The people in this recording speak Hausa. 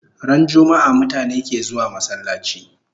Ran jummaa mutane ke zuwa masallachi